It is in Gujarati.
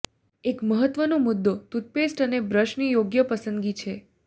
એક મહત્વનો મુદ્દો ટૂથપેસ્ટ અને બ્રશની યોગ્ય પસંદગી છે